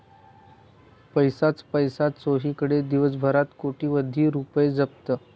पैसाच पैसा चोहीकडे, दिवसभरात कोट्यवधी रूपये जप्त